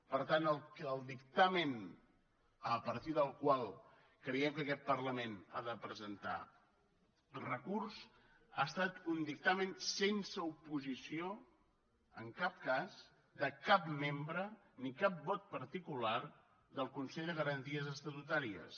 per tant el dictamen a partir del qual creiem que aquest parlament ha de presentar recurs ha estat un dictamen sense oposició en cap cas de cap membre ni cap vot particular del consell de garanties estatutàries